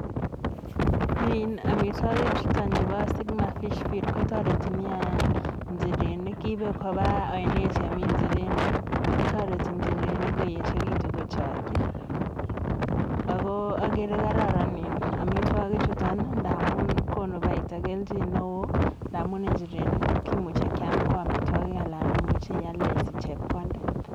In amitwokik chuton chebo sigma fish feed kotoreti niaa nchirenik. Kiibe koba oinet nemi nchirenik, kotoreti nchirenik koyechekitu kochakchi. Ako agere kararan in amitwokikchuton ndamun konu paita kelchin neoo, ndamun inchirenik kimuche kiam ko amitwokik alan imuche ialde isich chepkondet.